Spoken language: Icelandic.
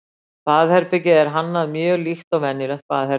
Baðherbergið er hannað mjög líkt og venjulegt baðherbergi.